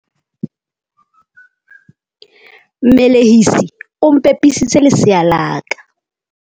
Mmelehisi o mpepisitse lesea la ka.